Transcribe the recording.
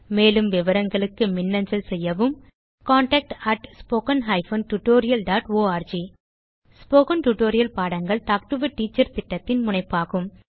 மேலும் விவரங்களுக்கு மின்னஞ்சல் செய்யவும் contactspoken tutorialorg ஸ்போகன் டுடோரியல் பாடங்கள் டாக் டு எ டீச்சர் திட்டத்தின் முனைப்பாகும்